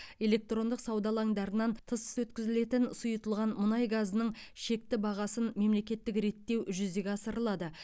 электрондық сауда алаңдарынан тыс өткізілетін сұйытылған мұнай газының шекті бағасын мемлекеттік реттеу жүзеге асырылады